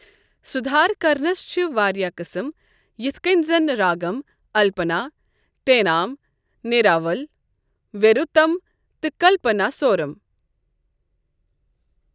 سُدہار کرنَس چھِ واریاہ قسم، یتھ کٮ۪ن زن راگم، الپنا، تینام، نیراول، ویروتم، تہٕ کلپناسورم۔